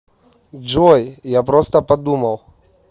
джой я просто подумал